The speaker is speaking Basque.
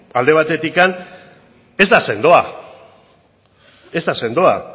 ba alde batetik ez da sendoa ez da sendoa